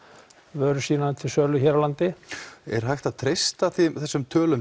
vörur sínar til sölu hér á landi er hægt að treysta þessum tölum